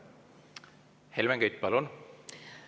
Helmen Kütt, palun!